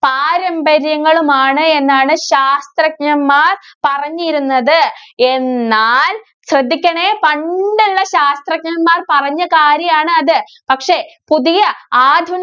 പാരമ്പര്യങ്ങളുമാണ് എന്നാണ് ശാസ്ത്രജ്ഞന്‍മാര്‍ പറഞ്ഞിരുന്നത്. എന്നാല്‍, ശ്രദ്ധിക്കണേ പണ്ടുള്ള ശാസ്ത്രജ്ഞന്‍മാര്‍ പറഞ്ഞ കാര്യം ആണ് അത്. പക്ഷേ, പുതിയ ആധുനി~